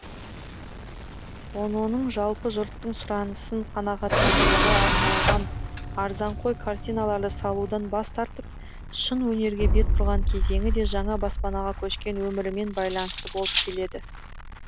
ононың жалпы жұрттың сұранысын қанағаттандыруға арналған арзанқой картиналарды салудан бас тартып шын өнерге бет бұрған кезеңі де жаңа баспанаға көшкен өмірімен байланысты болып келеді